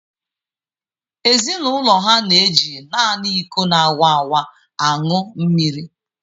Ezinụlọ ha na eji naanị iko na-awaawa aṅụ mmiri.